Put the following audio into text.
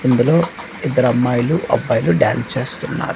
ఇందులో ఇద్దరమ్మాయిలు అబ్బాయిలు డాన్స్ చేస్తున్నారు.